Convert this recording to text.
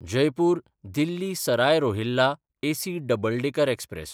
जयपूर–दिल्ली Sarai Rohilla AC double decker express